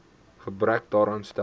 gebrek daaraan stel